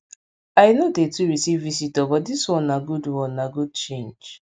i no dey too receive visitor but dis one na good one na good change